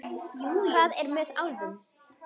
Hvað er með álfum?